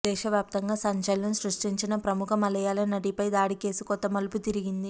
దేశవ్యాప్తంగా సంచలనం సృష్టించిన ప్రముఖ మలయాళ నటిపై దాడి కేసు కొత్త మలుపు తిరిగింది